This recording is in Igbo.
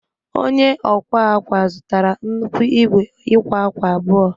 Onye ọ akwa akwa zụtara nnukwu igwe ịkwa akwa abụọ